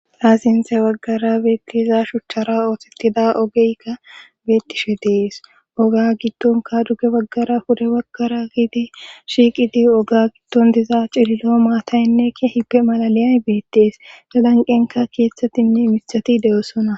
Ha sinte baggara beettiza shuchchara ootetida ogeykka beettishe dees oga gidtonka dugge waggara hude waggara gidi shiiqidi oga gidton diza cillo maataynneki hipe malaliyay beettees galanqenka keeththattinne misati de7osona